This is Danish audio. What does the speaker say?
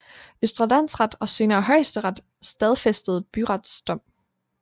Østre Landsret og senere Højesteret stadfæstede byrets dom